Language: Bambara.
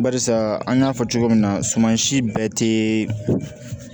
Barisa an y'a fɔ cogo min na suman si bɛɛ tɛ